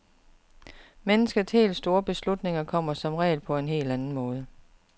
Menneskers helt store beslutninger kommer som regel på en helt anden måde.